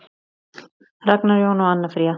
Ragnar Jón og Anna Fríða.